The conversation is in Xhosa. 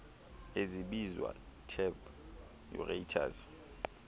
ezibizwa tap aerators